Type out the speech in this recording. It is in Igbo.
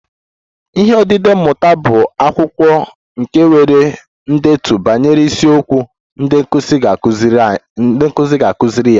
Ihe odide mmụta bụ akwụkwọ nke nwere ndetu banyere isiokwu ndị nkụzi ga-akụziri ya